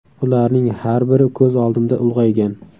Ularning har biri ko‘z oldimda ulg‘aygan.